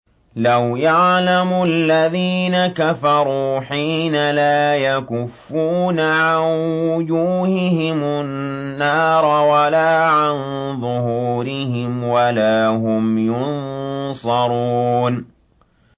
لَوْ يَعْلَمُ الَّذِينَ كَفَرُوا حِينَ لَا يَكُفُّونَ عَن وُجُوهِهِمُ النَّارَ وَلَا عَن ظُهُورِهِمْ وَلَا هُمْ يُنصَرُونَ